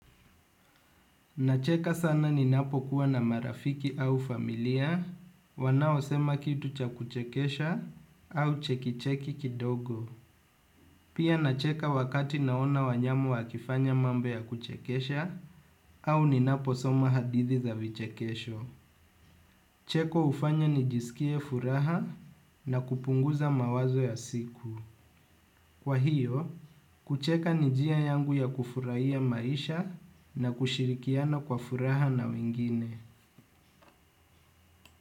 Nacheka sana ninapokuwa na marafiki au familia wanaosema kitu cha kuchekesha au chekicheki kidogo. Pia nacheka wakati naona wanyamu wakifanya mambo ya kuchekesha au ninaposoma hadithi za vichekesho. Cheko hufanya nijisikie furaha na kupunguza mawazo ya siku. Kwa hiyo, kucheka ni njia yangu ya kufurahia maisha na kushirikiana kwa furaha na wengine.